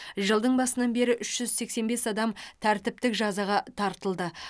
жылдың басынан бері үш жүз сексен бес адам тәртіптік жазаға тартылды